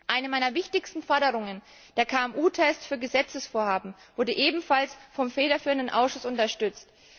Eine meiner wichtigsten Forderungen der KMU Test für Gesetzesvorhaben wurde ebenfalls vom federführenden Ausschuss unterstützt.